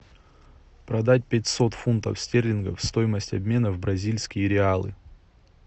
продать пятьсот фунтов стерлингов стоимость обмена в бразильские реалы